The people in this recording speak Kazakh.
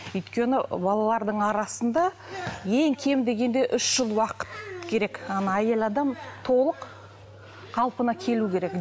өйткені балалардың арасында ең кем дегенде үш жыл уақыт керек ана әйел адам толық қалпына келу керек